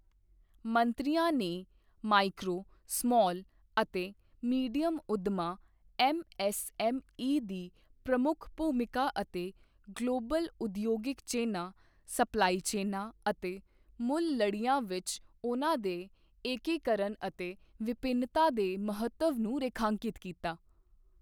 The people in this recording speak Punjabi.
ਮੰਤਰੀਆਂ ਨੇ ਮਾਈਕਰੋ, ਸਮਾਲ ਤੇ ਮੀਡੀਅਮ ਉੱਦਮਾਂ ਐੱਮਐਐੱਸਐੱਮਈ ਦੀ ਪ੍ਰਮੁੱਖ ਭੂਮਿਕਾ ਅਤੇ ਗਲੋਬਲ ਉਦਯੋਗਿਕ ਚੇਨਾਂ, ਸਪਲਾਈ ਚੇਨਾਂ ਅਤੇ ਮੁੱਲ ਲੜੀਆਂ ਵਿੱਚ ਉਨ੍ਹਾਂ ਦੇ ਏਕੀਕਰਨ ਅਤੇ ਵਿਭਿੰਨਤਾ ਦੇ ਮਹੱਤਵ ਨੂੰ ਰੇਖਾਂਕਿਤ ਕੀਤਾ।